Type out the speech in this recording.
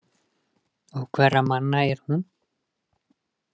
Og hverra manna er hún?